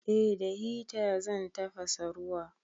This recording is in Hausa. Eh da hita zan tafasa ruwa.